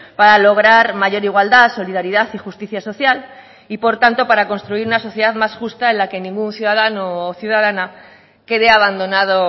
para lograr mayor igualdad solidaridad y justicia social y por tanto para construir una sociedad más justa en la que ningún ciudadano o ciudadana quede abandonado